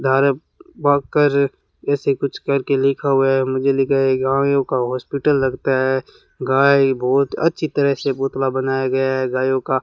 direct बात करें ऐसे कुछ करके लिखा हुआ है मुझे लिखा है गायों का हॉस्पिटल लगता है गाय बहुत अच्छी तरह से पुतला बनाया गया है गायों का --